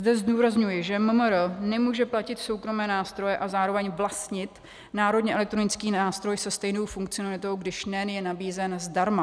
Zde zdůrazňuji, že MMR nemůže platit soukromé nástroje a zároveň vlastnit Národní elektronický nástroj se stejnou funkcionalitou, když NEN je nabízen zdarma.